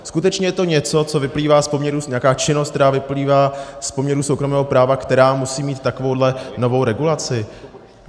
Skutečně je to něco, co vyplývá z poměrů, nějaká činnost, která vyplývá z poměrů soukromého práva, která musí mít takovou novou regulaci?